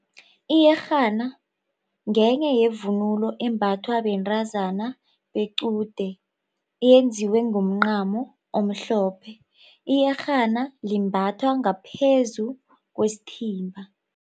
Iyerhana ngenye yevunulo embathwa bentazana bequde yenziwe ngomncamo omhlophe. Iyerhana limbathwa ngaphezu kwesithimba.